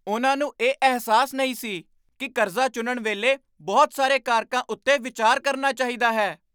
ਉਹਨਾਂ ਨੂੰ ਇਹ ਅਹਿਸਾਸ ਨਹੀਂ ਸੀ ਕਿ ਕਰਜ਼ਾ ਚੁਣਨ ਵੇਲੇ ਬਹੁਤ ਸਾਰੇ ਕਾਰਕਾਂ ਉੱਤੇ ਵਿਚਾਰ ਕਰਨਾ ਚਾਹੀਦਾ ਹੈ!